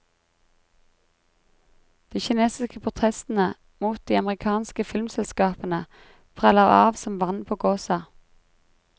De kinesiske protestene mot de amerikanske filmselskapene preller av som vann på gåsa.